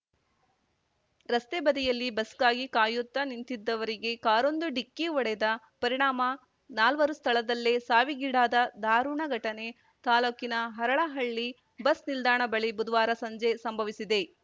ರಸ್ತೆ ಬದಿಯಲ್ಲಿ ಬಸ್‌ಗಾಗಿ ಕಾಯುತ್ತಾ ನಿಂತಿದ್ದವರಿಗೆ ಕಾರೊಂದು ಡಿಕ್ಕಿ ಹೊಡೆದ ಪರಿಣಾಮ ನಾಲ್ವರು ಸ್ಥಳದಲ್ಲೇ ಸಾವಿಗೀಡಾದ ಧಾರುಣ ಘಟನೆ ತಾಲೂಕಿನ ಹರಳಹಳ್ಳಿ ಬಸ್‌ ನಿಲ್ದಾಣ ಬಳಿ ಬುಧವಾರ ಸಂಜೆ ಸಂಭಸಿದೆ